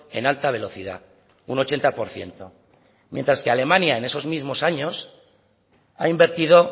en alta velocidad un ochenta por ciento mientras que alemania en esos mismos años ha invertido